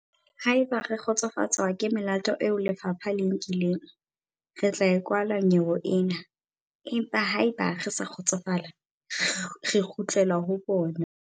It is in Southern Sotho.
"Haeba re kgotsofatswa ke mehato eo lefapha le e nkileng, re tla e kwala nyewe ena, empa haeba re sa kgotsofala, re kgutlela ho bona."